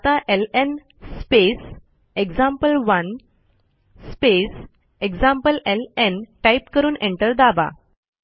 आता L N space example one space एक्झाम्प्लेलं type करून एंटर दाबा